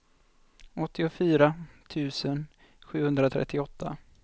åttiofyra tusen sjuhundratrettioåtta